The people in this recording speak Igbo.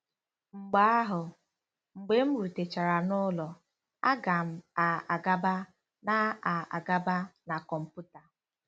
Mgbe ahụ, mgbe m rutechara n'ụlọ, a ga m a-agaba na a-agaba na kọmputa.